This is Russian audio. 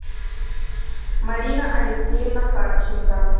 марина алексеевна харченко